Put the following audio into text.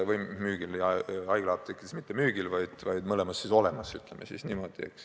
Või õigemini haiglaapteekides mitte müügil, vaid olemas, ütleme niimoodi.